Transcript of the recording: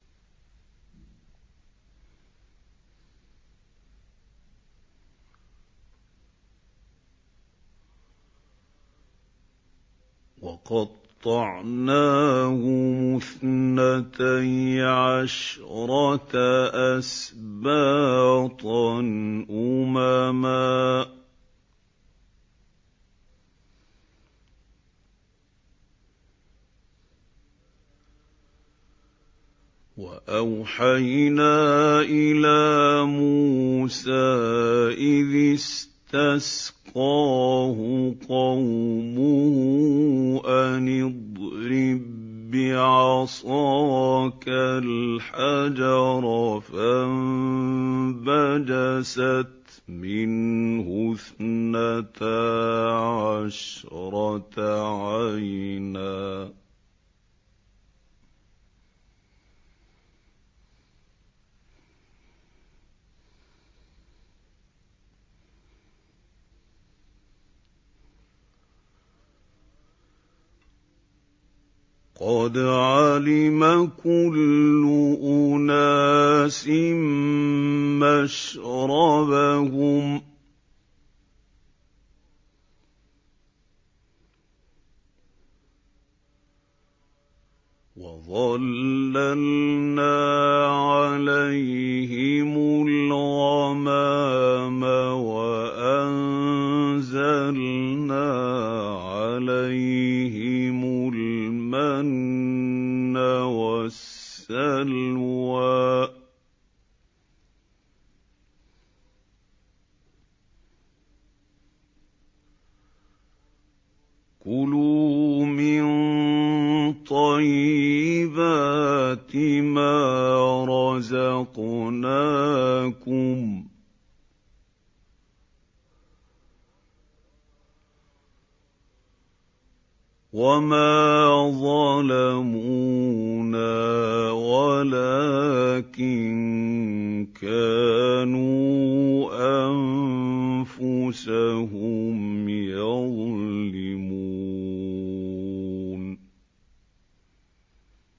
وَقَطَّعْنَاهُمُ اثْنَتَيْ عَشْرَةَ أَسْبَاطًا أُمَمًا ۚ وَأَوْحَيْنَا إِلَىٰ مُوسَىٰ إِذِ اسْتَسْقَاهُ قَوْمُهُ أَنِ اضْرِب بِّعَصَاكَ الْحَجَرَ ۖ فَانبَجَسَتْ مِنْهُ اثْنَتَا عَشْرَةَ عَيْنًا ۖ قَدْ عَلِمَ كُلُّ أُنَاسٍ مَّشْرَبَهُمْ ۚ وَظَلَّلْنَا عَلَيْهِمُ الْغَمَامَ وَأَنزَلْنَا عَلَيْهِمُ الْمَنَّ وَالسَّلْوَىٰ ۖ كُلُوا مِن طَيِّبَاتِ مَا رَزَقْنَاكُمْ ۚ وَمَا ظَلَمُونَا وَلَٰكِن كَانُوا أَنفُسَهُمْ يَظْلِمُونَ